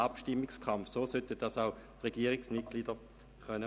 Dies sollten auch die Regierungsmitglieder tun können.